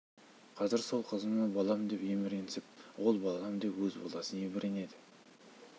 қазір сол қызыма балам деп еміренсем ол балам деп өз баласын еміренеді